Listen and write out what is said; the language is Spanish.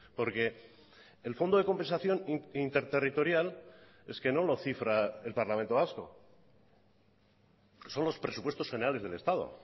porque el fondo de compensación interterritorial es que no lo cifra el parlamento vasco son los presupuestos generales del estado